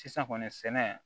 Sisan kɔni sɛnɛ